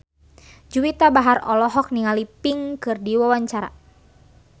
Juwita Bahar olohok ningali Pink keur diwawancara